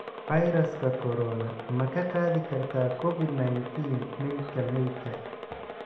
Fayraska Corona: Ma ka qaadi kartaa Covid-19 meydka meydka?